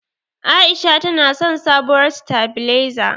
A'isha tana son sabuwar sitabilezar.